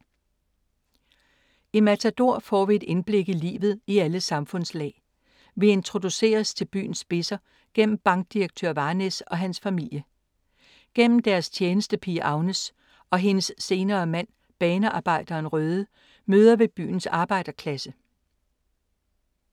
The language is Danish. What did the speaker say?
I Matador får vi et indblik i livet i alle samfundslag. Vi introduceres til byens spidser gennem bankdirektør Varnæs og hans familie. Gennem deres tjenestepige Agnes og hendes senere mand, banearbejderen Røde, møder vi byens arbejderklasse.